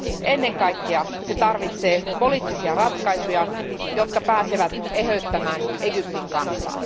Ennen kaikkea se tarvitsee poliittisia ratkaisuja, jotka pääsevät eheyttämään Egyptin kansaa.